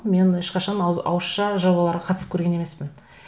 мен ешқашан ауызша жобаларға қатысып көрген емеспін